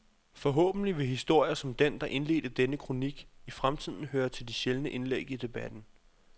Forhåbentlig vil historier som den, der indledte denne kronik, i fremtiden høre til de sjældne indlæg i debatten.